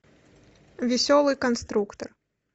веселый конструктор